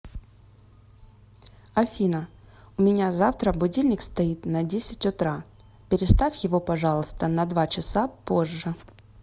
афина у меня завтра будильник стоит на десять утра переставь его пожалуйста на два часа позже